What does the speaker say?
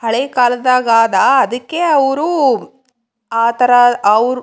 ಹಳೆ ಕಾಲದಾಗ ಅದ್ಕೆ ಅರು ಆತರ ಅವ್ರು.